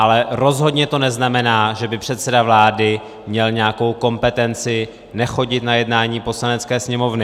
Ale rozhodně to neznamená, že by předseda vlády měl nějakou kompetenci nechodit na jednání Poslanecké sněmovny.